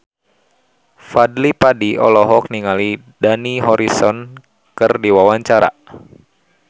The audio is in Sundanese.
Fadly Padi olohok ningali Dani Harrison keur diwawancara